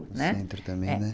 O centro também, não é?